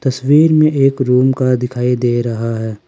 तस्वीर में एक रूम का दिखाई दे रहा है।